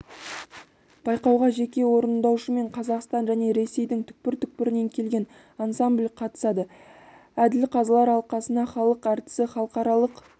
байқауға жеке орындаушымен қазақстан және ресейдің түкпір-түкпірінен келген ансамбль қатысады әділ қазылар алқасына халық әртісі халықаралық